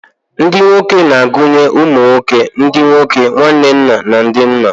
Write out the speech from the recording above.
Ndị nwoke na-agụnye ụmụ nwoke, ndị nwoke, nwanne nna, na ndị nna.